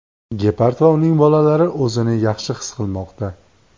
Gepard va uning bolalari o‘zini yaxshi his qilmoqda.